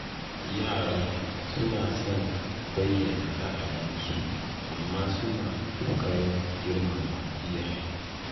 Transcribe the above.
Yaran suna son bayyana ra'ayinsu amma suna ƙoƙarin girmama iyaye.